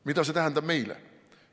Mida see tähendab meile?